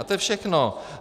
A to je všechno.